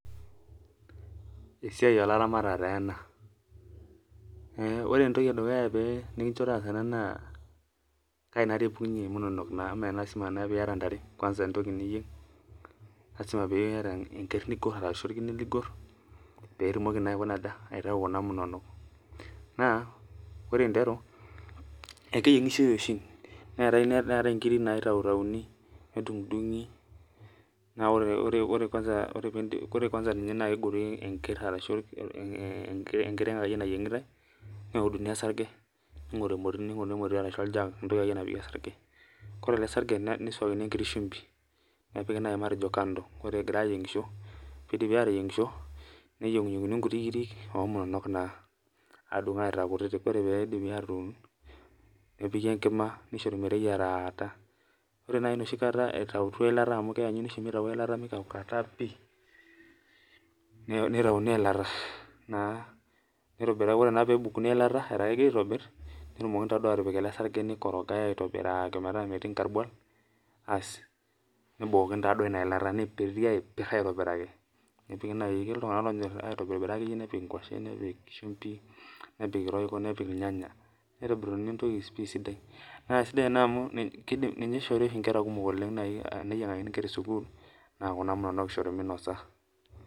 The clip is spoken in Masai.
Esiai oolaramatak taa ena, ore entoki edukuya nikincho taasa ena na kaji naa epukunye munono eemelasima naa pee iyata ntare entoki niyieng, lasima pee iyata orker ashu orkine ligor. pee itumoki naa aitayu kuna monono. naa ore einetu ekeyiengishoi oshi neetae nkiri naitautauni nidungi ,naa ore ninye kwanza naa kegori enker ashu enkiteng nayiengitae neuduni orsarge neigoruni emoti ashu oljag ashu entoki akeyie naapiki orsarge ,ore ele sarge neiswaakini enkiti shumpi nepikita naaji matejo kando ore egirae ayiengisho ,neyienguni nkutitik kiri omunono naa adung aitaa kutitik, ore pee eidipi atudung nepikita enkima nieshori meteyireta ,ore naaji enoshi kata eitauto eilata amu keenyuni meikaukata pi ,neitayuni eilata ,ore naa pee ebukuni eilata etaa kegirae aitobir nepikita ele sarge neikorogae metaa metii nkarbual nabukokini duo ina ilata neipiri aitobiraki ,ketii iltunganak onyor aitobira nepik nkwashen nepik shumbi, nepik royco nepik irnyanya neitobiruni pi entoki sidai. naa sidai ena amu ninye oshi eishiri nkera kumok ,teneyiangakini nkera esukul naa Kuna munono oshi eishori minosa.